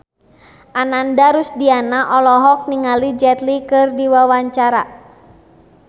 Ananda Rusdiana olohok ningali Jet Li keur diwawancara